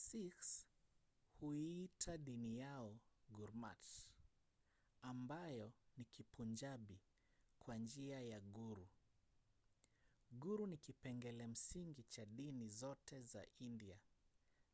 sikhs huiita dini yao gurmat ambayo ni kipunjabi kwa njia ya guru". guru ni kipengele msingi cha dini zote za india